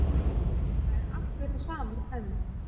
Það er allt við það sama enn